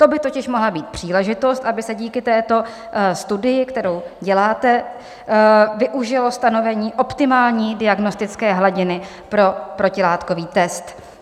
To by totiž mohla být příležitost, aby se díky této studii, kterou děláte, využilo stanovení optimální diagnostické hladiny pro protilátkový test.